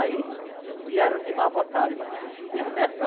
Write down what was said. Aí vieram de má vontade, mas vieram.